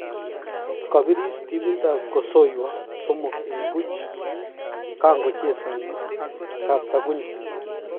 Kosiris timit ab kosoiywo somok eng buch kongochezani ak kaptagunyo.